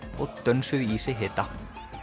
og dönsuðu í sig hita